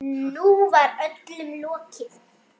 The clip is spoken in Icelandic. Nú var öllu lokið.